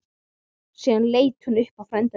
Síðan leit hann á frænda sinn.